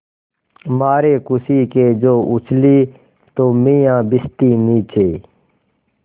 मारे खुशी के जो उछली तो मियाँ भिश्ती नीचे